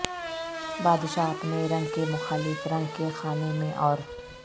بادشاہ اپنے رنگ کے مخالف رنگ کے خانے میں اور